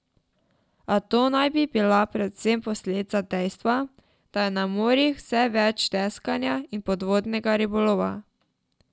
A to naj bi bila predvsem posledica dejstva, da je na morjih vse več deskanja in podvodnega ribolova.